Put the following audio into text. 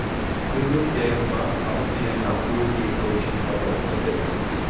Kullum da yamma Audu yana goge kaushin ƙafarsa da dutse.